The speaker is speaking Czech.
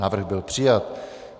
Návrh byl přijat.